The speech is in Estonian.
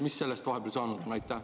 Mis sellest vahepeal saanud on?